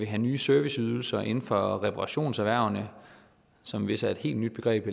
have nye serviceydelser inden for reparationserhvervene som vist er et helt nyt begreb